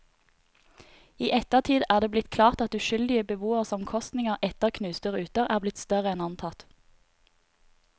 I ettertid er det blitt klart at uskyldige beboeres omkostninger etter knuste ruter er blitt større enn antatt.